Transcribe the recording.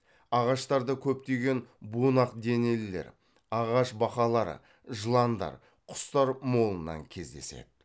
ағаштарда көптеген бунақ денелілер ағаш бақалары жыландар құстар молынан кездеседі